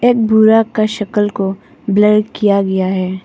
एक बूढ़ा का शक्ल को ब्लर किया गया है।